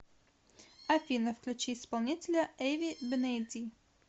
афина включи исполнителя эви бенеди